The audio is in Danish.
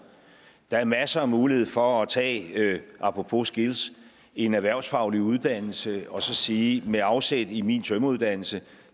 der er masser af muligheder for at tage apropos skills en erhvervsfaglig uddannelse og så sige med afsæt i min tømreruddannelse